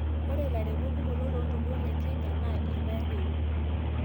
ore ilairemok kumok to loontoluo Le Kenya naa irpaek eun